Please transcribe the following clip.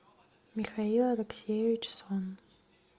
михаил алексеевич сон